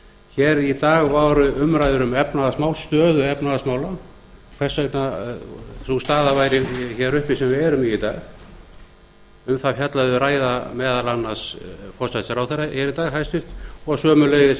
hér í dag voru umræður um efnahagsmál stöðu efnahagsmála hvers vegna sú staða væri hér uppi sem við erum í í dag um það fjallaði ræða meðal annars forsætisráðherra hér í dag hæstvirtur og sömuleiðis